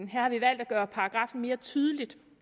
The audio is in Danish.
her har vi valgt at gøre paragraffen mere tydelig